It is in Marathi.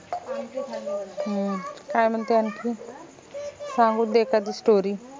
हम्म काय म्हनते आनखी सांगून दे एखादी story